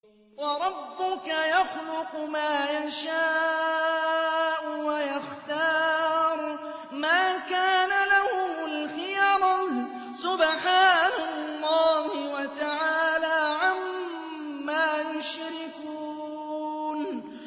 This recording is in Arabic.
وَرَبُّكَ يَخْلُقُ مَا يَشَاءُ وَيَخْتَارُ ۗ مَا كَانَ لَهُمُ الْخِيَرَةُ ۚ سُبْحَانَ اللَّهِ وَتَعَالَىٰ عَمَّا يُشْرِكُونَ